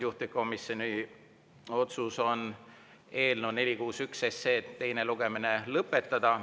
Juhtivkomisjoni otsus on eelnõu 461 teine lugemine lõpetada.